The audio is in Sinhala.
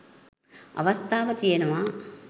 අවස්ථාව තියෙනවා.